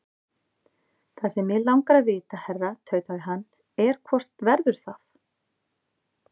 Það sem mig langar að vita, herra tautaði hann, er, hvort verður það?